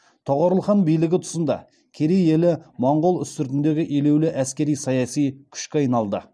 тоғорыл хан билігі тұсында керей елі моңғол үстіртіндегі елеулі әскери саяси күшке айналды